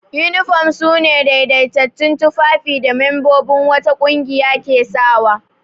Yunifom su ne daidaitattun tufafin da membobin wata ƙungiya ke sawa.